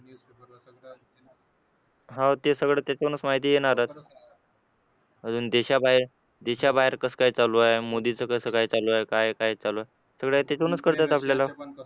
हो ते सगळं तिथूनच माहिती येणारच अजून देशाबाहेर देशाबाहेर कसं काय चालू आहे मोदीचं कसं काय चालू आहे काय काय चालू आहे सगळं तिथूनच कळत आपल्याला